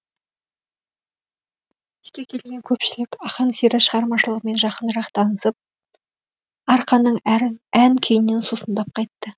кешке келген көпшілік ақан сері шығармашылығымен жақынырақ танысып арқаның ән күйінен сусындап қайтты